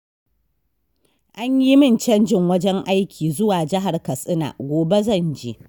An yi min canjin wajen aiki zuwa jihar Katsina, gobe zan je.